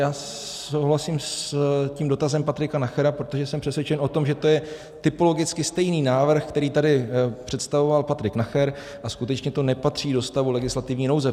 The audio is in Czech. Já souhlasím s tím dotazem Patrika Nachera, protože jsem přesvědčen o tom, že to je typologicky stejný návrh, který tady představoval Patrik Nacher, a skutečně to nepatří do stavu legislativní nouze.